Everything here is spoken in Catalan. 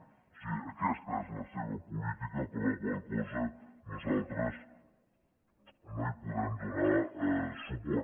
o sigui aquesta és la seva política per la qual cosa nosaltres no hi podem donar suport